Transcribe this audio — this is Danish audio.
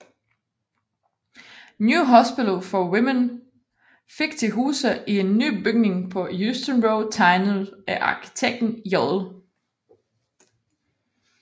New Hospital for Women fik til huse i en ny bygning på Euston Road tegnet af arkitekten J